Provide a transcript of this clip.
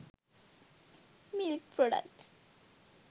milk products